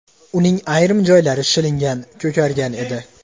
Uning ayrim joylari shilingan, ko‘kargan edi.